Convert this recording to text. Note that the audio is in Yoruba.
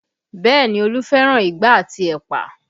Bẹẹ ni, Olu fẹ́ràn igbá àti ẹ̀pà